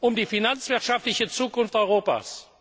um die finanzwirtschaftliche Zukunft